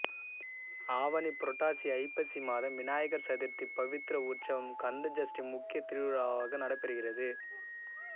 ஆவணி புரட்டாசி ஐப்பசி மாதம் விநாயகர் சதுர்த்தி பவித்ர உற்சவம் கந்த சஷ்டி முக்கிய திருவிழாவாக நடைபெறுகிறது